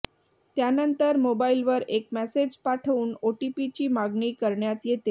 त्यानंतर मोबाईलवर एक मेसेज पाठवून ओटीपी ची मागणी करण्यात येते